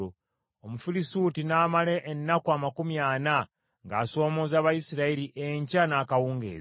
Omufirisuuti n’amala ennaku amakumi ana ng’asoomooza Abayisirayiri enkya n’akawungeezi.